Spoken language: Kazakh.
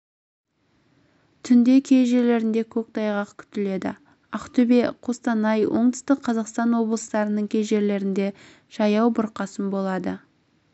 түнде кей жерлерінде көктайғақ күтіледі ақтөбе қостанай солтүстік қазақстан облыстарының кей жерлерінде жаяу бұрқасын болады